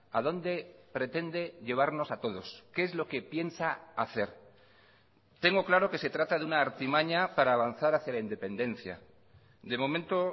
a dónde pretende llevarnos a todos qué es lo que piensa hacer tengo claro que se trata de una artimaña para avanzar hacia la independencia de momento